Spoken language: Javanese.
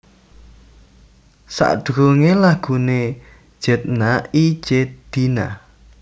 Sakdurungé laguné Jedna i Jedina